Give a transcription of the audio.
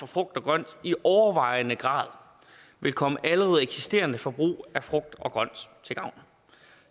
frugt og grønt i overvejende grad vil komme allerede eksisterende forbrug af frugt og grønt til gavn